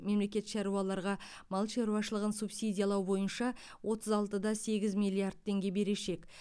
мемлекет шаруаларға мал шаруашылығын субсидиялау бойынша отыз алты да сегіз миллиард теңге берешек